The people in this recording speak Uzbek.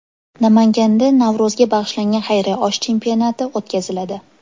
Namanganda Navro‘zga bag‘ishlangan xayriya osh chempionati o‘tkaziladi.